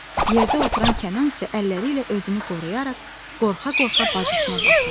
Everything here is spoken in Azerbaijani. Yerdə oturan Kənan isə əlləri ilə özünü qoruyaraq qorxa-qorxa bacısına baxırdı.